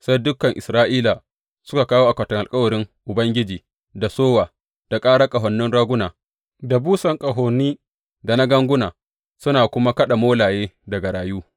Sai dukan Isra’ila suka kawo akwatin alkawarin Ubangiji da sowa, da ƙarar ƙahonin raguna da busan ƙahoni, da na ganguna, suna kuma kaɗa molaye da garayu.